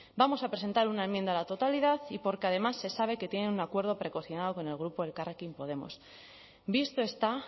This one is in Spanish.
vamos a presentar una enmienda a la totalidad y porque además se sabe que tienen un acuerdo precocinado con el grupo elkarrekin podemos visto está